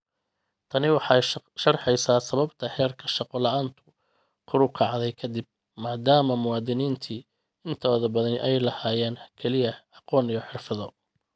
Tani waxay sharxaysaa sababta heerka shaqo la'aantu kor u kacday ka dib, maadaama muwaadiniinta intooda badani ay lahaayeen kaliya aqoon iyo xirfado.